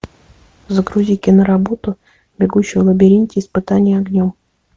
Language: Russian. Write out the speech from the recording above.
загрузи киноработу бегущий в лабиринте испытание огнем